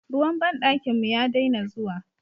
Ruwan banɗakin mu ya daina zuwa.